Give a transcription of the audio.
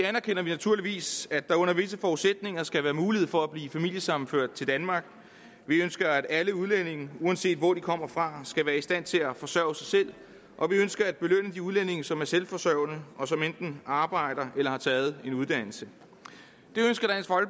anerkender vi naturligvis at der under visse forudsætninger skal være mulighed for at blive familiesammenført til danmark vi ønsker at alle udlændinge uanset hvor de kommer fra skal være i stand til at forsørge sig selv og vi ønsker at belønne de udlændinge som er selvforsørgende og som enten arbejder eller har taget en uddannelse